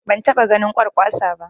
Ban taɓa ganin Kwarkwasa ba